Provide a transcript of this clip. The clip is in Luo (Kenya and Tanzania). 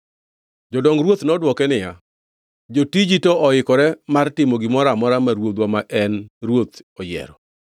Jodong ruoth nodwoke niya, “Jotiji to oikore mar timo gimoro amora ma ruodhwa ma en ruoth oyiero.”